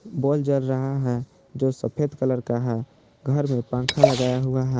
बोल जल रहा है जो सफेद कलर का है घर में पंखा लगाया हुआ है।